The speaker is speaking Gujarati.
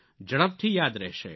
ઝડપથી યાદ રહેશે